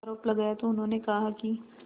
आरोप लगाया तो उन्होंने कहा कि